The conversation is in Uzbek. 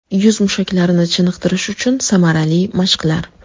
Yuz mushaklarini chiniqtirish uchun samarali mashqlar.